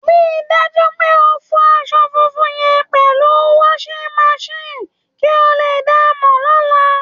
Rí i dájú pé o fọ asọ funfun yẹn pẹ̀lú washing machine kí ó lè baà mọ́ daadaa!